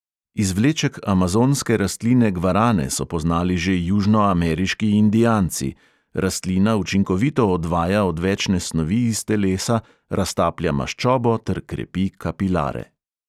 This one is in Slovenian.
Izvleček amazonske rastline gvarane so poznali že južnoameriški indijanci; rastlina učinkovito odvaja odvečne snovi iz telesa, raztaplja maščobo ter krepi kapilare.